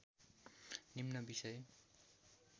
निम्न बिषय